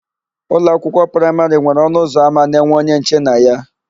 Ụlọakwụkwọ praịmarị nwere ọnụụzọama na-enwe onye nche na ya.